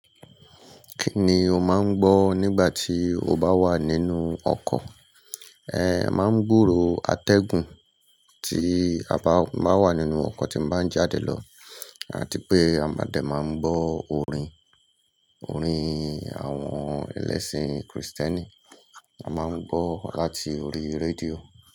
Kí ni o máa ń gbọ́ nígbà tí o bá wà nínú ọkọ̀? Ẹmáa ń gbòòrò atẹ́gùn tí a bá wà nínú ọkọ̀ tí ń bá ń jáde lọ àti pé a máa de máa ń gbọ́ orin, orin àwọn ẹlẹ́sìn Kristẹni. A máa ń gbọ́ láti orí rédíò.